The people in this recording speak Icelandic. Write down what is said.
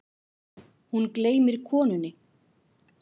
Hún gleymir konunni.